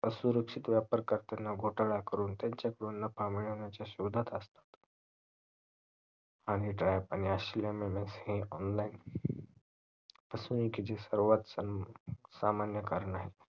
असुरक्षित व्यापार करताना घोटाला करून त्यांची पूर्ण कामे येण्याच्या शोधत असतात आणि असल्यामुळे online असणे किती सर्वात सामान्य कारण आहे